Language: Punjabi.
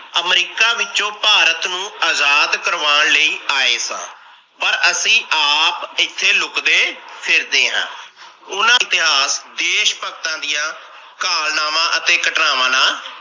ਅਮਰੀਕਾ ਵਿੱਚੋ ਭਾਰਤ ਨੂੰ ਆਜ਼ਾਦ ਕਰਵਾਣ ਲਈ ਆਏ ਸਾ ਪਰ ਅਸੀ ਆਪ ਏਥੇ ਲੁੱਕਦੇ ਫਿਰਦੇ ਹਾਂ। ਉਹਨਾਂ ਇਤਿਹਾਸ ਦੇਸ਼ ਭਗਤਾ ਦੀਆ ਕਾਲਨਾਵਾ ਅਤੇ ਘਟਨਾਵਾਂ ਨਾਲ